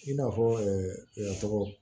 I n'a fɔ tɔgɔ